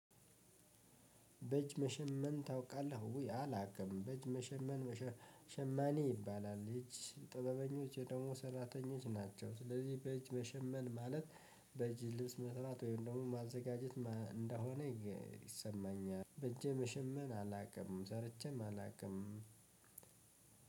በእጅ መሸመን ታውቃለህ? ውይ አላውቅም። በእጅ መሸመን ሸማኔ ይባላል። የእጅ ጥበበኞች ደግሞ ሰራተኞች ናቸው። ስለዚህ በመሸመን ማለት በጅልስ መስራት ወይም ደግሞ ማዘጋጀት እንደሆነ ይሰማኛል። በእጄ መሸመን አላውቅም ሰርቼም አላውቅም።